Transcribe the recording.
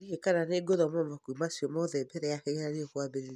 Ndiũĩ kana nĩ ngũthoma mabuku macio mothe mbere ya kĩgeranio kwambĩrĩria.